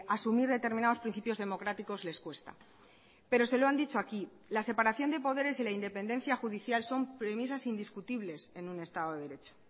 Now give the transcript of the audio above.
asumir determinados principios democráticos les cuesta pero se lo han dicho aquí la separación de poderes y la independencia judicial son premisas indiscutibles en un estado de derecho